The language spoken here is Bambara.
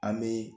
An bɛ